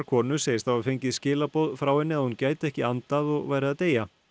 konu segist hafa fengið skilaboð frá henni að hún gæti ekki andað og væri að deyja